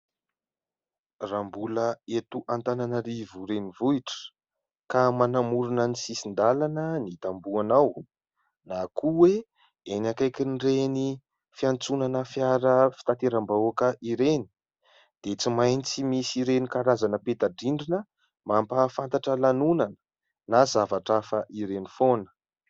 Raha mbola eto Antananarivo renivohitra, ka manamorona ny sisin-dalana ny tambohonao na koa hoe eny akaikin'ireny fiantsonana fiara fitanteram-bahoaka ireny dia tsy maintsy misy ireny karazana peta-drindrina mampahafantatra lanonana na zavatra hafa ireny foana.